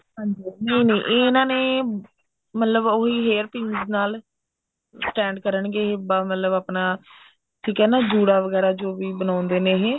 ਹਾਂਜੀ ਹਾਂਜੀ ਨਹੀਂ ਨਹੀਂ ਇਹਨਾ ਨੇ ਮਤਲਬ ਉਹੀ hair pins ਨਾਲ stand ਕਰਨਗੇ ਮਤਲਬ ਆਪਣਾ ਠੀਕ ਐ ਨਾ ਜੁੜਾ ਵਗੇਰਾ ਜੋ ਵੀ ਬਣਾਉਂਦੇ ਨੇ ਇਹ